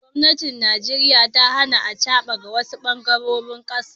gomnatin Najeriya ta Hana acaba awasu bangarorin kasan.